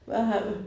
Hvad har vi